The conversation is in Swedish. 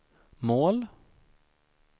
mål